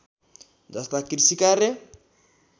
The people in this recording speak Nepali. जस्ता कृषि कार्य